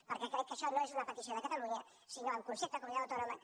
perquè crec que això no és una petició de catalunya sinó en concepte de comunitat autònoma